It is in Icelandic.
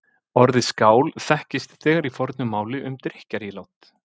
Orðið skál þekkist þegar í fornu máli um drykkjarílát.